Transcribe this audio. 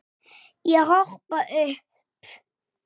Bítur í neðri vörina.